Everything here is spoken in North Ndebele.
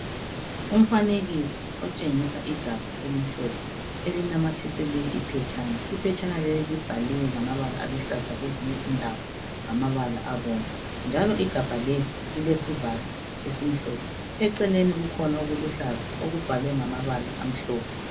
Umfanekiso otshengisa igabha elimhlophe elinamathiselwe iphetshana. Iphetshana leli libhaliwe ngamabala aluhlaza kwezinye indawo ngamabala abomvu njalo igabha leli lilesivalo esimhlophe, eceleni kukhona okuluhlaza okubhalwe ngamabala amhlophe.